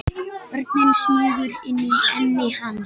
Örin smýgur inn í enni hans.